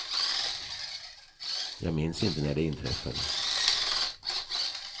Jag minns inte när de inträffade.